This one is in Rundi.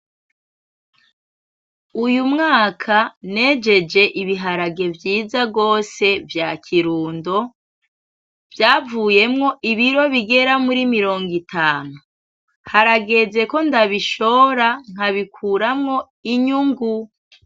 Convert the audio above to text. Uyumwaka nejeje ibiharage vyiza gose vya kirundo, vyayuyemwo ibiro bigera muri mirongo itanu, harageze ko ndabishora nkabikuramwo inyungu.